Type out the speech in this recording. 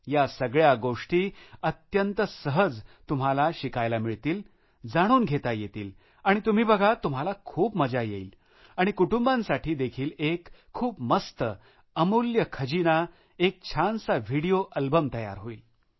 या सगळ्या गोष्टी अत्यंत सहज तुम्हाला शिकायला मिळतील जाणून घेता येतील आणि तुम्ही बघा तुम्हाला खूप मजा येईल आणि कुटुंबांसाठी देखील एक खूप मस्त अमूल्य खजाना एक छानसा व्हिडीओ अल्बम तयार होईल